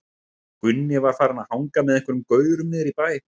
Gunni var farinn að hanga með einhverjum gaurum niðri í bæ.